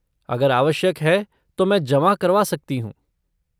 अगर आवश्यक है तो मैं जमा करवा सकती हूँ।